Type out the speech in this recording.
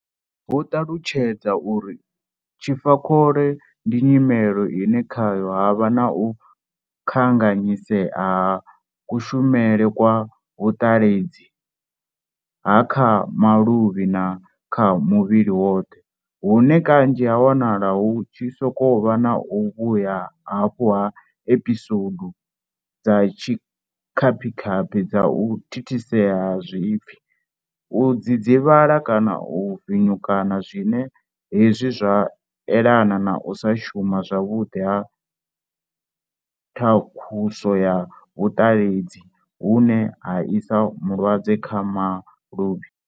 Vho ṱalutshedza uri tshifa khole ndi nyimele ine khayo ha vha na u kanganyisea ha kushumele kwa vhuṱaledzi ha kha maluvhi na kha muvhili woṱhe hune kanzhi ha wanala hu tshi sokou vha na u vhuya hafhu ha episoudu dza tshikhapikhapi dza u thithisea ha zwipfi, u dzidzivhala kana u vinyukana zwine hezwi zwa elana na u sa shuma zwavhuḓi ha thakhuso ya vhuṱaledzi vhune ha isa mulaedza kha maluvhi.